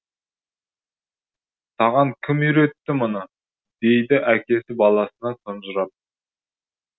саған кім үйретті мұны дейді әкесі баласына тұнжырап